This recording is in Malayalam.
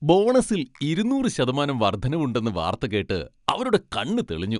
ബോണസിൽ ഇരുന്നൂറ് ശതമാനം വർദ്ധനവ് ഉണ്ടെന്ന് വാർത്ത കേട്ട് അവരുടെ കണ്ണു തെളിഞ്ഞു.